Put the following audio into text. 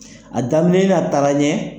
A daminɛ na taara ɲɛ.